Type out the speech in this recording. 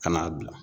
Ka n'a bila